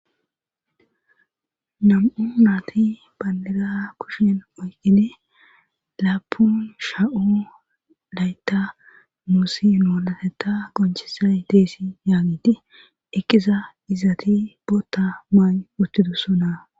Nam'u maati banliga kushen moyqine laapun sha'o laytta muussi noolateta gonchisay deesi yaagiti ekiza izati bootta maan uttidussonaa.